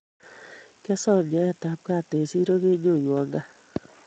Kyosom nyoetab gaat eng siro kenyonywa gaat